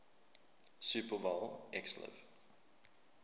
super bowl xliv